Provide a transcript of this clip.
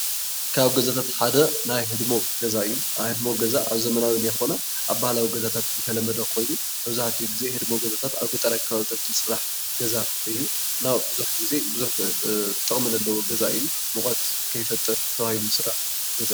ካብ ገዛታት ሓደ ናይ ህድሞ ገዛ እዩ፡፡ ናይ ህድሞ ገዛ ኣብ ዘመናዊ ዘይኮነ አብ ባህላዊ ገዛታት ዝተለመደ ኮይኑ መብዛሕትኡ ግዜ ህድሞ ገዛታት አብ ገጠር አከባቢታት ዝስራሕ ገዛ እዩ፡፡ እና ብዙሕ ግዜ ብዙሕ ጥቅሚ ዘለዎ ገዛ እዩ፡፡ ሙቐት ከይፈጥር ተባሂሉ ዝስራሕ ገዛ እዩ፡፡